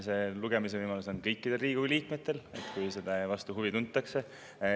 Nende lugemise võimalus on kõikidel Riigikogu liikmetel, kui selle vastu huvi tuntakse.